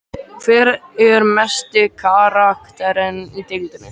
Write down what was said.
Hver er mesti karakterinn í deildinni?